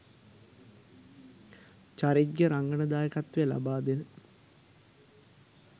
චරිත්ගේ රංගන දායකත්වය ලබා දෙන